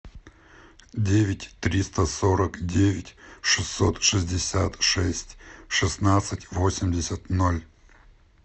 девять триста сорок девять шестьсот шестьдесят шесть шестнадцать восемьдесят ноль